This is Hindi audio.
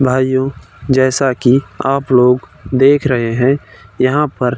भाईयों जैसा कि आप लोग देख रहै है यहां पर --